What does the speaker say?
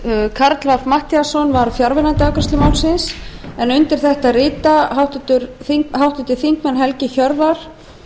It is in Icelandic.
karl fimmti matthíasson var fjarverandi við afgreiðslu málsins undir þetta rita háttvirtir þingmenn helgi hjörvar